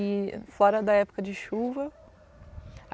e fora da época de chuva.